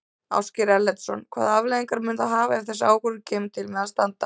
Ásgeir Erlendsson: Hvaða afleiðingar mun það hafa ef þessi ákvörðun kemur til með að standa?